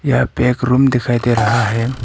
यहां पे एक रूम दिखाई दे रहा है।